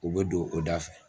U bɛ don o da fɛ.